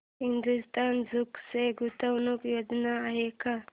Hindustan Zinc च्या गुंतवणूक योजना आहेत का